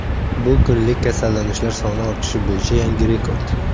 Bu kunlik kasallanishlar soni ortishi bo‘yicha yangi rekord.